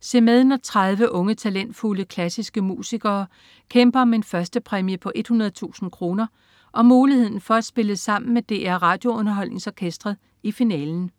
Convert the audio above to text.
Se med, når 30 unge talentfulde klassiske musikere kæmper om en førstepræmie på 100.000 kroner og muligheden for at spille sammen med DR RadioUnderholdningsOrkestret i finalen